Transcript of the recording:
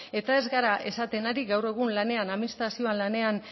eta ez gara esaten ari gaur egun lanean admistrazioan lanean